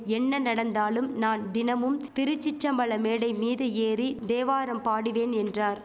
என்ன நடந்தாலும் நான் தினமும் திருச்சிற்றம்பல மேடை மீது ஏறி தேவாரம் பாடுவேன் என்றார்